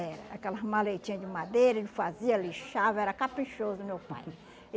Era, aquelas maletinha de madeira, ele fazia, lixava, era caprichoso meu pai.